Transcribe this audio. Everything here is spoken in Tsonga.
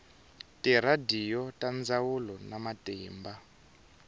tiradiyo ta ndzhawu na matimba